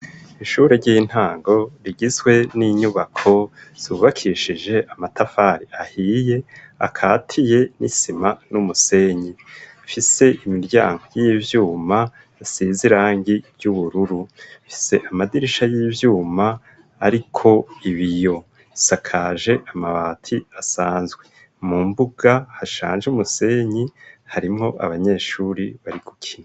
Ishure ry'intango rigizwe n'inyubako zubakishije amatafari ahiye akatiye n'isima n'umusenyi, ifise imiryango y'ivyuma isize irangi ry'ubururu, ifise amadirisha y'ivyuma ariko ibiyo, isakaje amabati asanzwe, mu mbuga hashanje umusenyi harimwo abanyeshuri bari gukina.